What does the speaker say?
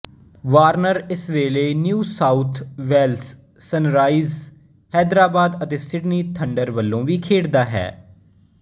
Warner ਇਸ ਵੇਲੇ New South Wales Sunrisers Hyderabad ਅਤੇ ਸਿਡਨੀ ਥੰਡਰ ਵੱਲੋਂ ਵੀ ਖੇਡਦਾ ਹੈ